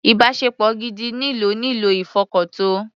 Ìbáṣepọ̀ gidi nílò nílò ìfọkàntọ́.